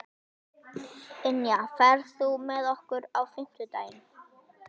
Ynja, ferð þú með okkur á fimmtudaginn?